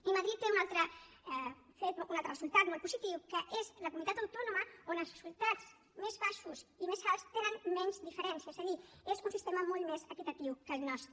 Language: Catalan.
i madrid té un altre resultat molt positiu que és la comunitat autònoma on els resultats més baixos i més alts tenen menys diferència és a dir és un sistema molt més equitatiu que el nostre